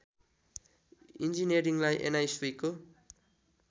इन्जिनियरिङलाई एनआइसुइको